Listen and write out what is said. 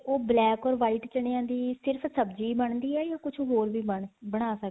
black or white ਚਣੇਆਂ ਦੀ ਸਿਰਫ਼ ਸਬਜ਼ੀ ਬਣਦੀ ਹੈ ਜਾਂ ਕੁੱਝ ਹ਼ੋਰ ਵੀ ਬਣ ਬਣਾ ਸਕਦੇ